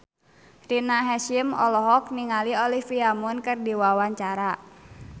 Rina Hasyim olohok ningali Olivia Munn keur diwawancara